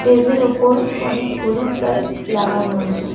টেজের ওপর অনেক হলুদ লাইট লাগানো আছে.